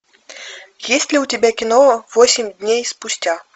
есть ли у тебя кино восемь дней спустя